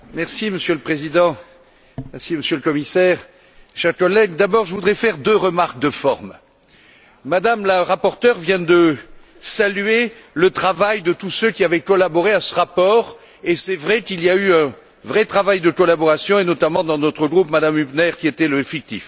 Monsieur le Président, Monsieur le Commissaire, chers collègues, je voudrais d'abord faire deux remarques de forme Mme la rapporteure vient de saluer le travail de tous ceux qui avaient collaboré à ce rapport et c'est vrai qu'il y a eu un vrai travail de collaboration, et notamment dans notre groupe, Mme Hübner, qui était le fictif.